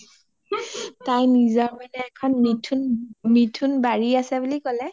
তাৰ নিজা এখন মানে মিথুন বাৰি আছে বুলি ক’লে